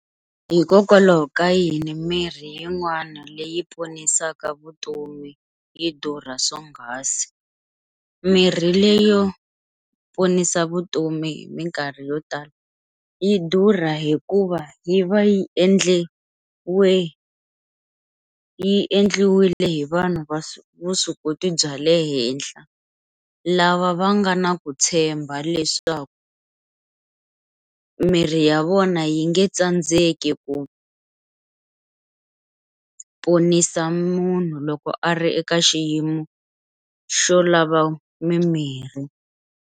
Hikokwalaho ka yini mirhi yin'wana leyi ponisaka vutomi yi durha swonghasi, mirhi leyo ponisa vutomi hi minkarhi yo tala yi durha hikuva yi va yi endle we endliwile hi vanhu va vuswikoti bya le henhla lava va nga na ku tshemba leswaku mirhi ya vona yi nge tsandzeki ku ponisa munhu loko a ri eka xiyimo xo lava mimirhi.